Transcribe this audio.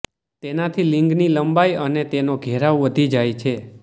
તેનાથી લિંગની લંબાઈ અને તેનો ઘેરાવ વધી જાય છે